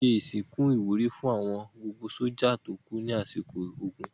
Wọ́n ṣe ìsìnkú ìwúrí fún gbogbo àwọn sójà tó kú lásìkò ogun.